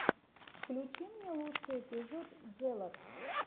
включи мне лучший эпизод джелот